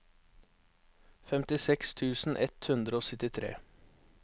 femtiseks tusen ett hundre og syttitre